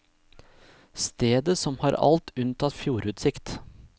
Stedet som har alt unntatt fjordutsikt.